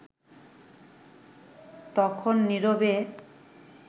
তখন নিরবে